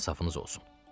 İnsafınız olsun.